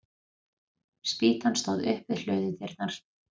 Spýtan stóð upp við hlöðudyrnar.